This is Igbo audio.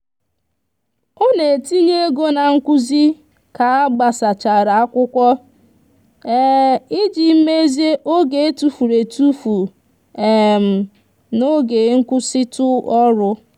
ọ na-etinye ego na nkuzi ka agbasachara akwụkwọ iji mezie oge etufuru etufu n'oge nkwụsịtụ ọrụ.